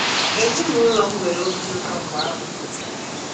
Ezinụlọ m nwere obi ụtọ mgbe a mụrụ m.